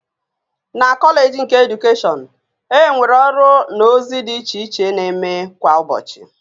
Na Kọleeji nke Edukeshọn, e nwere ọrụ na ozi dị iche iche na-eme kwa ụbọchị